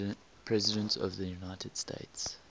presidents of the united states